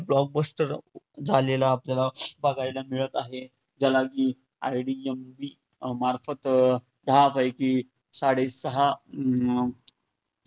super duper hit blockbuster झालेला आपल्याला बघायला मिळतं आहे. ज्याला IDMB मार्फत दहा पैकी साडे सहा अं